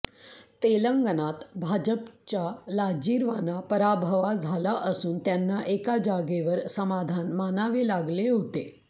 तेलंगणात भाजपचा लाजिरवाणा पराभवा झाला असून त्यांना एका जागेवर समाधान मानावे लागले होते